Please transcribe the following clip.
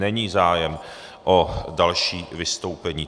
není zájem o další vystoupení.